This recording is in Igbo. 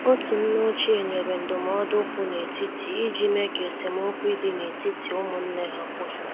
Otu nne ochie nyere ndụmọdụ kwụ n' etiti iji mee ka esemokwi dị n'etiti ụmụnne ha kwụsị.